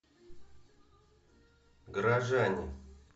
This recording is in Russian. горожане